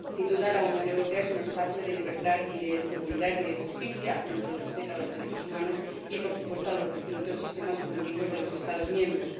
Sin duda, la Unión Europea es un espacio de libertad, de seguridad y de justicia, dentro del respeto a los derechos humanos y, por supuesto, a los distintos sistemas jurídicos de los Estados miembros.